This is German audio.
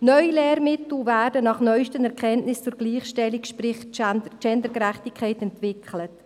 Neue Lehrmittel werden nach den neusten Erkenntnissen zur Gleichstellung, sprich Gendergerechtigkeit, entwickelt.